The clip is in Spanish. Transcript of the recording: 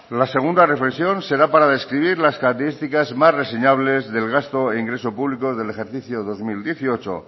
la segunda reflexión será para describir las características más reseñables del gasto e ingreso público del ejercicio dos mil dieciocho